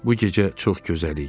Bu gecə çox gözəl idi.